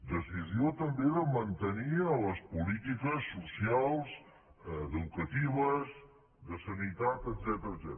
decisió també de mantenir les polítiques socials educatives de sanitat etcètera